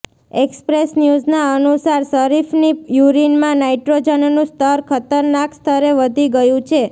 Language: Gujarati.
એક્સપ્રેસ ન્યુઝના અનુસાર શરીફની યૂરિનમાં નાઇટ્રોજનનું સ્તર ખતરનાક સ્તરે વધી ગયું છે